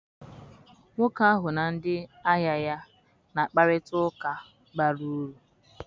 Nwoke ahụ na ndị ahịa ya na-akparịta ụka bara uru.